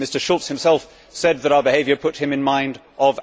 Mr Schulz himself said that our behaviour put him in mind of Adolf Hitler.